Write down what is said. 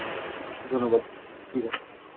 ধন্যবাদ ঠিক আছে।